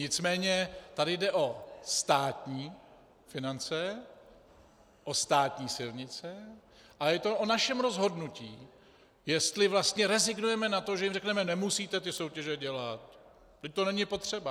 Nicméně tady jde o státní finance, o státní silnice a je to o našem rozhodnutí, jestli vlastně rezignujeme na to, že jim řekneme: Nemusíte ty soutěže dělat, vždyť to není potřeba.